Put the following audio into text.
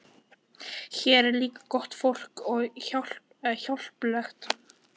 Hér er líka gott fólk og hjálplegt.